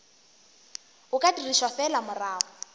o ka dirišwa fela morago